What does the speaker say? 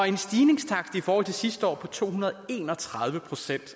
en stigningstakt i forhold til sidste år på to hundrede og en og tredive procent